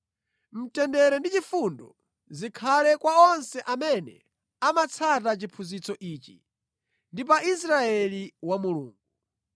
Mtendere ndi chifundo zikhale kwa onse amene amatsata chiphunzitso ichi, ndi pa Israeli wa Mulungu.